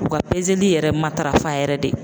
U ka pezeli yɛrɛ matarafa yɛrɛ de.